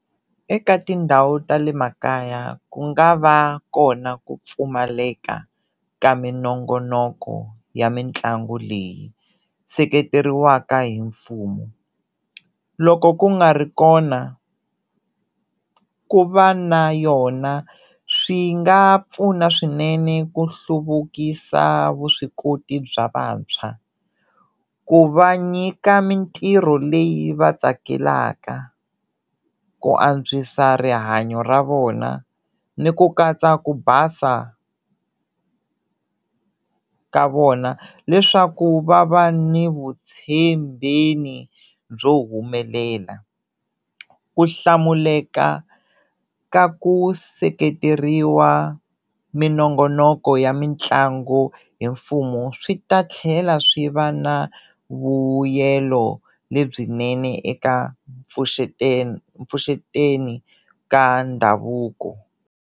Eka tindhawu ta le makaya ku nga va kona ku pfumaleka ka minongonoko ya mitlangu leyi seketeriweka hi mfumo loko ku nga ri kona ku va na yona swi nga pfuna swinene ku hluvukisa vuswikoti bya vantshwa, ku va nyika mintirho leyi va tsakelaka, ku antswisa rihanyo ra vona ni ku katsa ku basa ka vona leswaku va va ni vutshembeni byo humelela, ku hlamuleka ka ku seketeriwa minongonoko ya mitlangu hi mfumo swi ta tlhela swi va na vuyelo lebyinene eka mpfuxeteni ka ndhavuko.